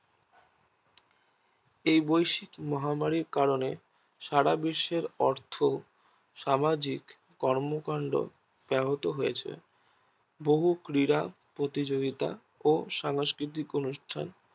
এই বৈশ্বিক মহামারীর কারণে সারাদেশের অর্থ সামাজিক কর্মকাণ্ড বেহত হয়েছে বহু ক্রীড়া প্রতিযোগিতা ও সাংস্কৃতিক অনু্ঠান